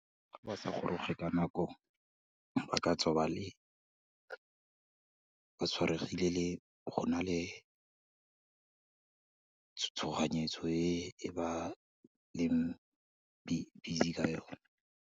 Fa ba sa goroge ka nako, ba katswa ba le, batshwaregile le, go na le, tshoganyetso e ba leng busy ka yone.